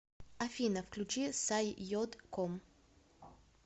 афина включи саййод ком